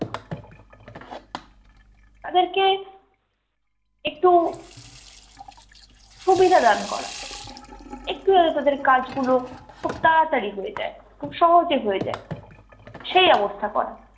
তাদেরকে একটু সুবিধা দান করা, একটু যাতে তাদের কাজ গুলো খুব তাড়াতাড়ি হয়ে যায়, খুব সহজে হয়ে যায় সেই ব্যবস্থা করা।